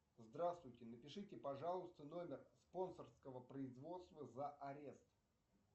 здравствуйте напишите пожалуйста номер спонсорского производства за арест